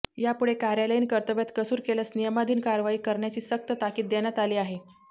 यापुढे कार्यालयीन कर्तव्यात कसूर केल्यास नियमाधिन कारवाई करण्याची सक्त ताकीद देण्यात आली आहे